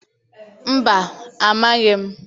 Mba, amaghị m